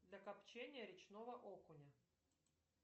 для копчения речного окуня